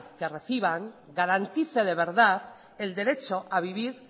que reciban garantice de verdad el derecho a vivir